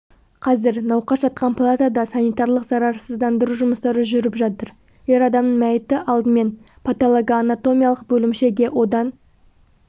қазір науқас жатқан палатада санитарлық зарарсыздандыру жұмыстары жүріп жатыр ер адамның мәйіті алдымен паталогоанатомиялық бөлімшеге одан